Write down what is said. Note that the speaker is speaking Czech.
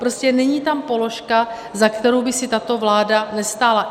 Prostě není tam položka, za kterou by si tato vláda nestála.